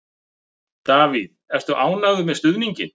Davíð, ertu ánægður með stuðninginn?